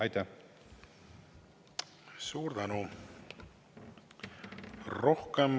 Aitäh!